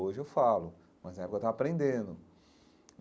Hoje eu falo, mas na época eu estava aprendendo.